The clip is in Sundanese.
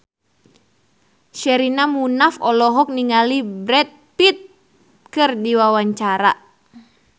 Sherina Munaf olohok ningali Brad Pitt keur diwawancara